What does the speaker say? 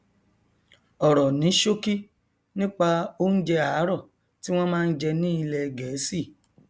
ọrọ ní ṣókí nípa oúnjẹ àárọ tí wọn máa n jẹ ní ilẹ gẹẹsì